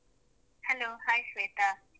Hello hai , Shweta.